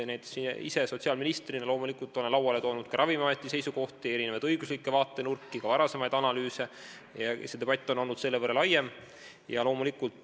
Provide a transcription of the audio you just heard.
Näiteks ma ise olen sotsiaalministrina lauale toonud Ravimiameti seisukohti, erinevaid õiguslikke vaatenurki, ka varasemaid analüüse ja debatt on olnud selle võrra laiem.